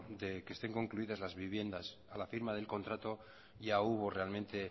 de que estén concluidas las viviendas a la firma del contrato ya hubo realmente